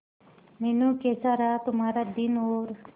मीनू कैसा रहा तुम्हारा दिन और